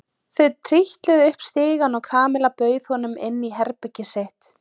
Þau trítluðu upp stigann og Kamilla bauð honum inn í herbergið sitt.